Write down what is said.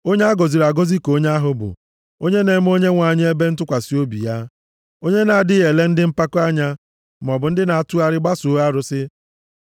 Onye a gọziri agọzi ka onye ahụ bụ, onye na-eme Onyenwe anyị ebe ntụkwasị obi ya; onye na-adịghị ele ndị mpako anya maọbụ ndị na-atụgharị gbasoo arụsị. + 40:4 Maọbụ, gbasoo okwu ụgha